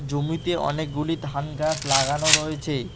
জমিতে অনেকগুলি ধান গাছ লাগানো রয়েছে।